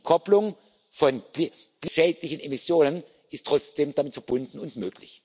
Die Entkopplung von klimaschädlichen Emissionen ist trotzdem damit verbunden und möglich.